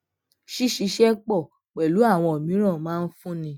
ṣíṣiṣẹ pò pèlú àwọn míràn máa ń fúnni